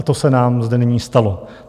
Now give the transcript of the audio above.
A to se nám zde nyní stalo.